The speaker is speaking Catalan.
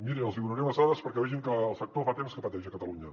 mirin els hi donaré unes dades perquè vegin que el sector fa temps que pateix a catalunya